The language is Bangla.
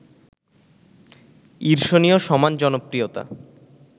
ঈর্ষণীয় সমান জনপ্রিয়তা